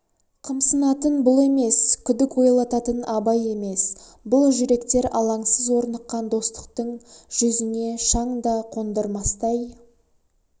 қымсынатын бұл емес күдік ойлататын абай емес бұл жүректер алаңсыз орныққан достықтың жүзіне шаң да қондырмастай